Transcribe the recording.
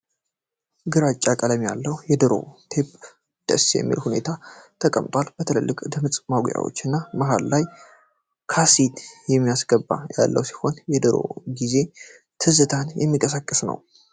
ግራጫ ቀለም ያለው 'የድሮ' ቴብ ደስ በሚል ሁኔታ ተቀምጧል። በትላልቅ ድምጽ ማጉያዎች እና መሃል ላይ ካሴት ማስገቢያ ያለው ሲሆን፣ የድሮ ጊዜ ትዝታ የምቀሰቅስ ነው።